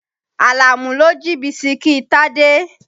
Àlàmú ló jí Bísikí Tádé.